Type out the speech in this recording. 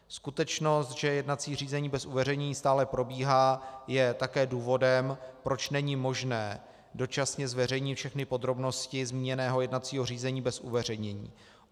Skutečnost, že jednací řízení bez uveřejnění stále probíhá, je také důvodem, proč není možné dočasně zveřejnit všechny podrobnosti zmíněného jednacího řízení bez uveřejnění.